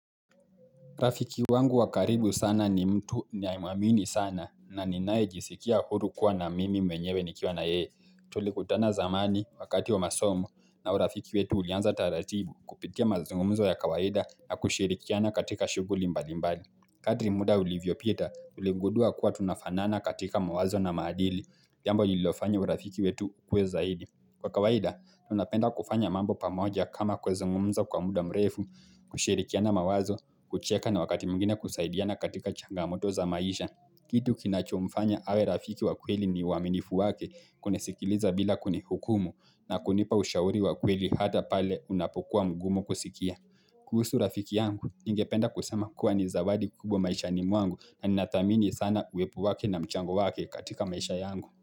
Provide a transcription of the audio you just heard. Rafiki wangu wa karibu sana ni mtu niayemwamini sana na ninae jisikia huru kuwa na mimi mwenyewe nikiwa na yeye. Tulikutana zamani wakati wa masomu na urafiki wetu ulianza taratibu kupitia mazungumzo ya kawaida na kushirikiana katika shuguli mbali mbali. Kadri muda ulivyopita ulingudua kuwa tunafanana katika mawazo na maadili. Jambo nilofanya urafiki wetu ukuwe zaidi. Kwa kawaida, tunapenda kufanya mambo pamoja kama kwa zungumza kwa muda mrefu, kushirikiana mawazo, kucheka na wakati mwingine kusaidiana katika changamoto za maisha. Kitu kinachomfanya awe rafiki wa kweli ni waminifu wake kunisikiliza bila kunihukumu na kunipa ushauri wa kweli hata pale unapokuwa mgumu kusikia. Kuhusu rafiki yangu, ninge penda kusema kuwa ni zawadi kubwa maisha mwangu na ninamdhamini sana uwepo wake na mchango wake katika maisha yangu.